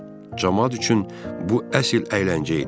Camaat üçün bu əsl əyləncə idi.